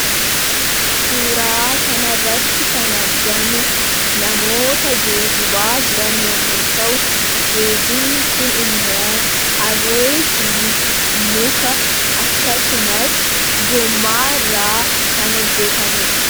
Suuraa kan irratti kan argamu namoota geejibaa jiran yoomu ta'u geejibni kun immoo harree fi muka akkasumas gommaairraa kan hojjetamedha.